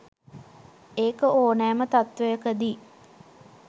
ඒක ඕනෑම තත්ත්වයකදි